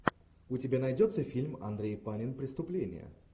у тебя найдется фильм андрей панин преступление